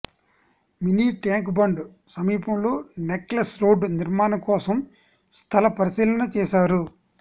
mini Tank Bund సమీపంలో Necklace Road నిర్మాణం కోసం స్థల పరిశీలన చేశారు